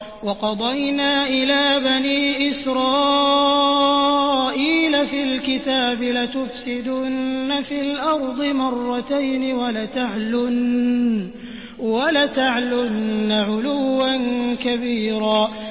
وَقَضَيْنَا إِلَىٰ بَنِي إِسْرَائِيلَ فِي الْكِتَابِ لَتُفْسِدُنَّ فِي الْأَرْضِ مَرَّتَيْنِ وَلَتَعْلُنَّ عُلُوًّا كَبِيرًا